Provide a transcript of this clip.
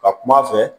Ka kum'a fɛ